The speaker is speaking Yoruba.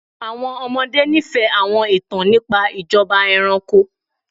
Àwọn ọmọde nifẹ awọn itan nipa ijọba ẹranko